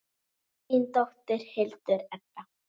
Þín dóttir, Hildur Edda.